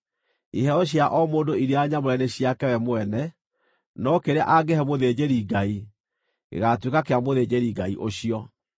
Iheo cia o mũndũ iria nyamũre nĩ ciake we mwene, no kĩrĩa angĩhe mũthĩnjĩri-Ngai, gĩgaatuĩka kĩa mũthĩnjĩri-Ngai ũcio.’ ”